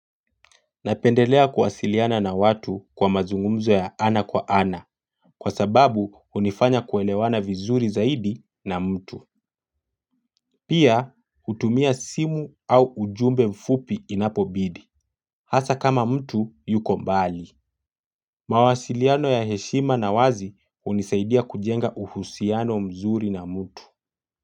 Napendelea kuwasiliana na watu kwa mazungumzo ya ana kwa ana. Kwa sababu hunifanya kuelewana vizuri zaidi na mtu. Pia, hutumia simu au ujumbe mfupi inapobidi. Hasa kama mtu, yuko mbali. Mawasiliano ya heshima na wazi hunisaidia kujenga uhusiano mzuri na mtu.